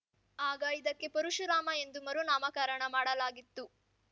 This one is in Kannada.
ಆಗ ಇದಕ್ಕೆ ಪರಶುರಾಮ ಎಂದು ಮರುನಾಮಕರಣ ಮಾಡಲಾಗಿತ್ತು